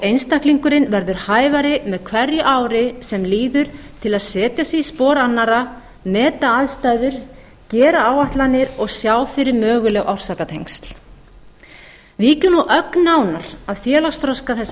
einstaklingurinn verður hæfari með hverju ári sem líður til að setja sig i spor annarra meta aðstæður gera áætlanir og sjá fyrir möguleg orsakatengsl víkjum nú ögn nánar að félagsþroska þessa